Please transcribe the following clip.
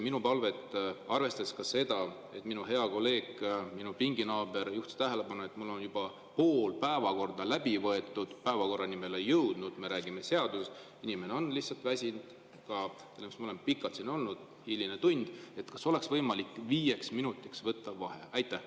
Minu palve: arvestades ka seda, et minu hea kolleeg, minu pinginaaber juhtis tähelepanu, et mul on juba pool päevakorda läbi võetud, kuigi päevakorrani me ei ole jõudnud, me räägime seadusest – inimene on lihtsalt väsinud, me oleme pikalt siin olnud, hiline tund –, kas oleks võimalik viieks minutiks võtta vaheaeg?